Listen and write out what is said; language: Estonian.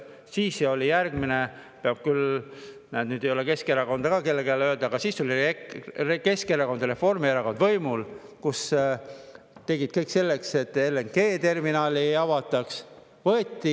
Järgmine oli see, peab küll ütlema – näed, nüüd ei ole siin Keskerakonda ka, kellele seda öelda –, kui olid Keskerakond ja Reformierakond võimul ja tegid kõik selleks, et LNG-terminali ei avataks.